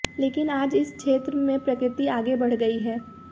लेकिन आज इस क्षेत्र में प्रगति आगे बढ़ गई है